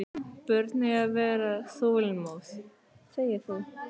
Börn eiga að vera þolinmóð.